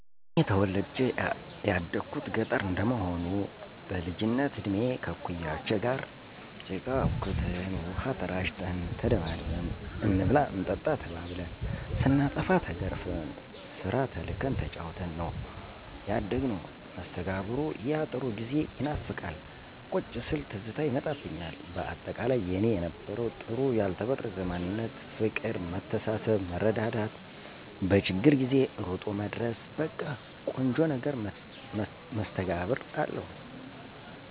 እኔ ተወልጀ ያደኩት ገጠረ እንደመሆኑ በልጅነት እድሜ ከእኩያወቸ ጋር ጭቃ አቡክተን፣ ውሃ ተራጭተን፣ ተደባድበን፣ እንብላ እንጠጣ ተባብልን፣ ስናጠፋ ተገርፈን፣ ስራ ተልከን ተጫውተን ነው ያደግነው። መስተጋብሩ ያጥሩ ጊዜ ይናፍቃል ቁጭ ስል ትዝታ ይመጣብኞል በአጠቃላይ የኔ የነበረው ጥሩ ያልተበረዘ ማንነት ፍቅር መተሳሰብ መረዳዳት በችግር ጊዜ እሮጦ መድረስ በቀ ቆንጆ ነገር መስተጋብር አለው።